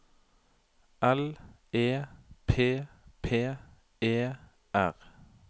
L E P P E R